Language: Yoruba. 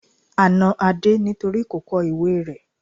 A na Adé nítorí kò kọ ìwée rẹ́.